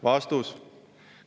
" Vastus.